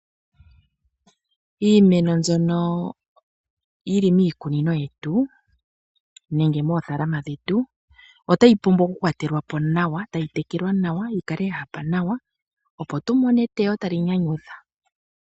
Iimeno mbyono yili miikunino yetu nenge moothaalama dhetu otayi pumbwa okukwatelwa po nawa, tayi tekelwa nawa yikale yahapa nawa, opo tumone eteyo tali nyanyudha.